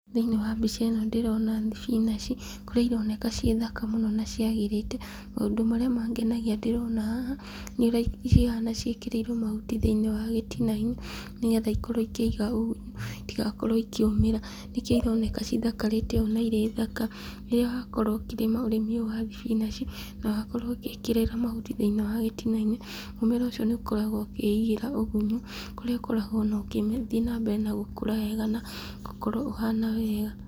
Thĩiniĩ wa mbica ĩno ndĩrona thibinaci , kũrĩa ironeka ci thaka mũno na ciagĩrĩte , maũndũ marĩa mangenagia ndĩrona haha, nĩ ũrĩa cihana ciĩkĩrĩrwo mahuti thĩiniĩ wa gitina-inĩ, nĩgetha ikorwo ikĩiga ũgunyu, itigakorwo ikĩũmĩra , nĩkĩo ironeka cithakarĩte ũũ na irĩ thaka , rĩrĩa wakorwo ũkĩrĩma ũrĩmi ũyũ wa thibinaci , na wakorwo ũgĩkĩrĩra mahuti thĩiniĩ wa gitina-inĩ, mũmera ũcio nĩ ũkoragwo ũkĩigira ũgunyi, kũrĩa ũkoragwo ona ũgĩthiĩ na mbere na gũkũra wega, na gũkorwo ũhana wega.